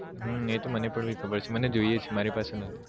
હમ એ તો મને પણ ખબર છે મને જઈએ છે મારી પાસે નથી